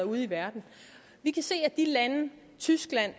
ude i verden vi kan se at de lande tyskland